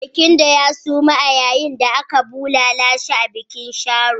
Barkindo ya suma yayin da ake bulala shi a bikin Sharo.